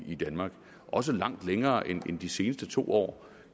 i danmark også langt længere end i de seneste to år